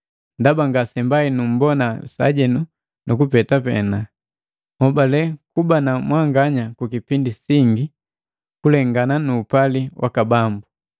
Ndaba ngasembai numbona sajenu nukupeta pena. Nhobale kuba na mwanganya ku kipindi singi, kulengana nuupali waka Bambu.